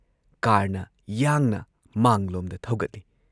ꯀꯥꯔꯅ ꯌꯥꯡꯅ ꯃꯥꯡꯂꯣꯝꯗ ꯊꯧꯒꯠꯂꯤ ꯫